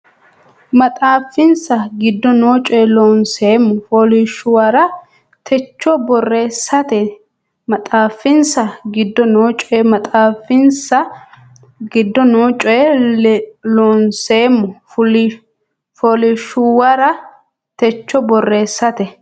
maxaafinsa giddo noo coy Loonseemmo fooliishshuwara techo borreessate maxaafinsa giddo noo coy maxaafinsa giddo noo coy Loonseemmo fooliishshuwara techo borreessate.